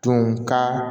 Tun ka